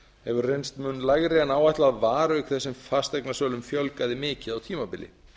hefur reynst mun lægri en áætlað var auk þess sem fasteignasölum fjölgaði mikið á tímabili